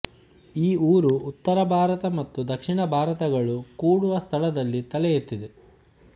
ಈ ಊರು ಉತ್ತರಭಾರತ ಮತ್ತು ದಕ್ಷಿಣ ಭಾರತಗಳು ಕೂಡುವ ಸ್ಥಳದಲ್ಲಿ ತಲೆ ಎತ್ತಿದೆ